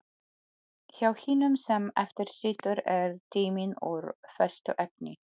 Hjá hinum sem eftir situr er tíminn úr föstu efni.